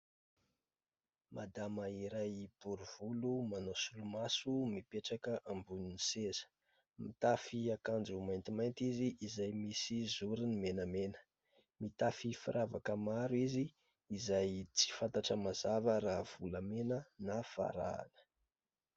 Madama iray bory volo manao solomaso mipetraka ambonin'ny seza, mitafy akanjo maintimainty izy izay misy zoriny menamena, mitafy firavaka maro izy izay tsy fantatra mazava raha volamena na varahina.